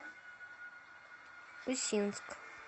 усинск